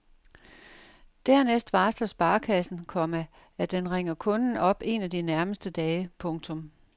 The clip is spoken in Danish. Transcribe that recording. Dernæst varsler sparekassen, komma at den ringer kunden op en af de nærmeste dage. punktum